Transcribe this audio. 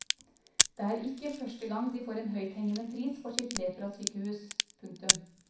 Det er ikke første gang de får en høythengende pris for sitt leprasykehus. punktum